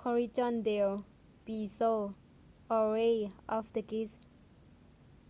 callejon del beso alley of the kiss